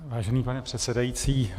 Vážený pane předsedající.